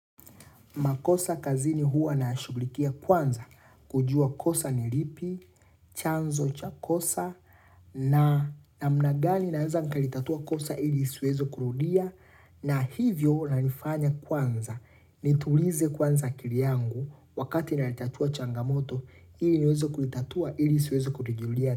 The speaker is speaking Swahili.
Makosa kazini huwa nashughulikia kwanza kujua kosa ni lipi, chanzo cha kosa na namna gani naweza nikalitatua kosa ili isiweze kurudia na hivyo nalifanya kwanza nitulize kwanza akili yangu wakati nalitatua changamoto ili niweze kulitatua ili isiweze kujirudia.